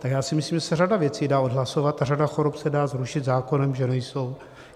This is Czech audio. Tak já si myslím, že se řada věcí dá odhlasovat a řada chorob se dá zrušit zákonem, že nejsou.